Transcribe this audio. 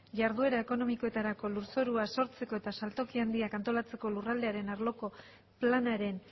jarduera ekonomikoetarako lurzorua sortzeko eta saltoki handiak antolatzeko lurraldearen arloko planaren